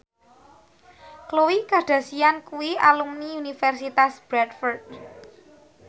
Khloe Kardashian kuwi alumni Universitas Bradford